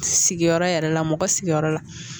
Sigiyɔrɔ yɛrɛ la mɔgɔ sigiyɔrɔ la